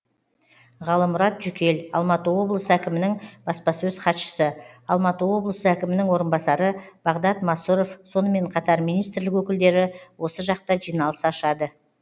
ғалымұрат жүкел алматы облысы әкімінің баспасөз хатшысы алматы облысы әкімінің орынбасары бағдат масұров сонымен қатар министрлік өкілдері осы жақта жиналыс ашады